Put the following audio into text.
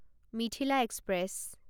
Mithila express